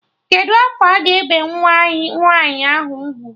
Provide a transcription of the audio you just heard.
Kedụ afọ a ga-ebe nwa nwaanyị ahụ ugwu?